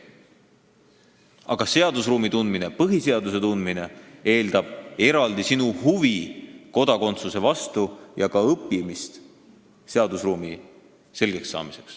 Aga seadusruumi selgekssaamine, põhiseaduse tundmine eeldab eraldi huvi kodakondsuse vastu ja ka õppimist.